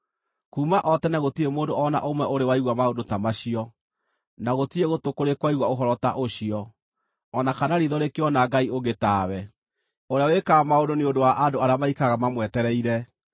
Kuuma o tene gũtirĩ mũndũ o na ũmwe ũrĩ waigua maũndũ ta macio, na gũtirĩ gũtũ kũrĩ kwaigua ũhoro ta ũcio, o na kana riitho rĩkĩona Ngai ũngĩ tawe, ũrĩa wĩkaga maũndũ nĩ ũndũ wa andũ arĩa maikaraga mamwetereire.